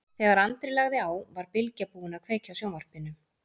Þegar Andri lagði á var Bylgja búin að kveikja á sjónvarpinu.